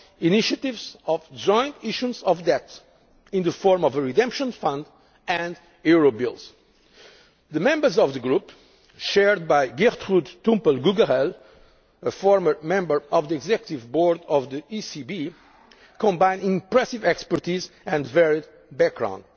of initiatives of joint issuance of debt in the form of a redemption fund and Eurobills The members of this, group chaired by Gertrude Tumpel Gugerell, a former member of the Executive Board of the ECB, combine impressive expertise with a varied